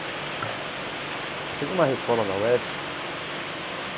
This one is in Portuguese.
Ela fez uma reforma na UESP.